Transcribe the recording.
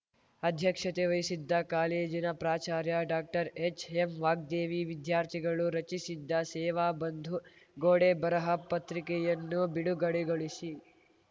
ಅಧ್ಯಕ್ಷತೆ ವಹಿಸಿದ್ದ ಕಾಲೇಜಿನ ಪ್ರಾಚಾರ್ಯ ಡಾಕ್ಟರ್ ಹೆಚ್‌ಎಂ ವಾಗ್ದೇವಿ ವಿದ್ಯಾರ್ಥಿಗಳು ರಚಿಸಿದ್ದ ಸೇವಾ ಬಂಧು ಗೋಡೆ ಬರಹ ಪತ್ರಿಕೆಯನ್ನು ಬಿಡುಗಡೆಗೊಳಿಸಿ